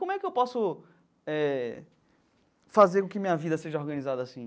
Como é que eu posso eh fazer com que minha vida seja organizada assim?